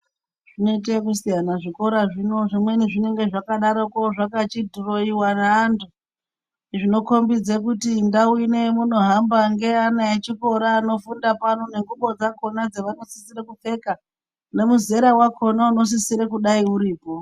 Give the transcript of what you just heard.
Zvinoita ekusiyana zvikora zvino zvimweni zvinenga vakadaroko zvakachidhuroiwa nevanhu zveikombedza kuti ndau inei yamunohamba ngeyevana vechikora anofunda pano nengubo dzakona dzavanosisira kupfeka nemuzera wakona inosisira kudai uripo.